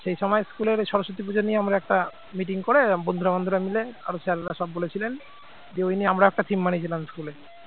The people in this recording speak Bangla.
সে সময় স্কুলের সরস্বতী পুজো নিয়ে আমরা একটা meeting করে বন্ধুরা বন্ধুরা মিলে আরো sir রা সব বলেছিলেন যে ওই নিয়ে আমরা একটা theme বানিয়েছিলাম school এ